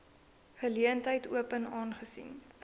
geleentheid open aangesien